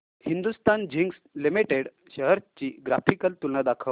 Hindustan zinc limited shares ची graphical तुलना दाखव